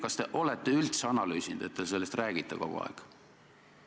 Kas te olete seda üldse analüüsinud, et sellest kogu aeg räägite?